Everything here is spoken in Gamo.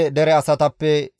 Harime dere asatappe 320;